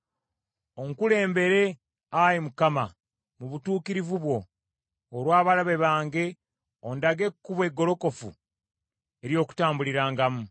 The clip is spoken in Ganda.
Onkulembere, Ayi Mukama , mu butuukirivu bwo, olw’abalabe bange, ondage ekkubo eggolokofu ery’okutambulirangamu.